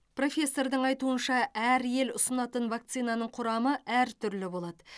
профессордың айтуынша әр ел ұсынатын вакцинаның құрамы әртүрлі болады